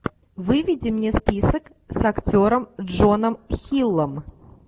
выведи мне список с актером джоном хиллом